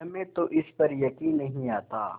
हमें तो इस पर यकीन नहीं आता